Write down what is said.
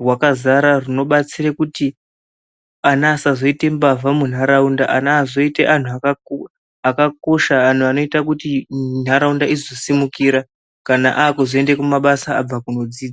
rwakadzara runobatsire kuti ana asazoite mbavha munharaunda ana azoite anhu akakosha anhu anoite kuti nharaunda izosimukira kana akuzoende kumabasa abve kunodzidza.